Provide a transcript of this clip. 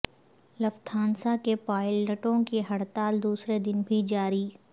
Lufthansa کے پائلٹوں کی ہڑتال دوسرے دن بھی جاری